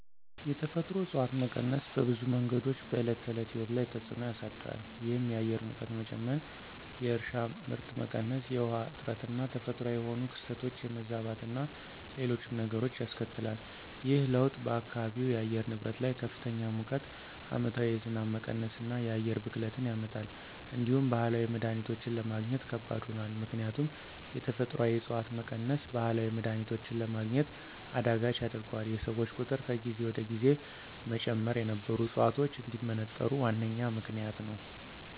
የተፈጥሮ እፅዋት መቀነስ በብዙ መንገዶች በዕለት ተዕለት ሕይወት ላይ ተፅዕኖ ያሳድራል። ይህም የአየር ሙቀት መጨመር፣ የእርሻ ምርት መቀነስ፣ የውሃ እጥረትና ተፈጥሯዊ የሆኑ ክስተቶች የመዛባትና ሌሎችም ነገሮች ያስከትላል። ይህ ለውጥ በአካባቢው የአየር ንብረት ላይ ከፍተኛ ሙቀት፣ ዓመታዊ የዝናብ መቀነስና የአየር ብክለትን ያመጣል። እንዲሁም ባህላዊ መድሀኒቶችን ለማግኘት ከባድ ሆኗል። ምክንያቱም የተፈጥሮአዊ ዕፅዋት መቀነስ ባህላዊ መድሀኒቶችን ለማግኘት አዳጋች ያደርገዋል፤ የሰዎች ቁጥር ከጊዜ ወደ ጊዜ መጨመር የነበሩ ዕፅዋቶች እንዲመነጠሩ ዋነኛ ምክንያት ነዉ።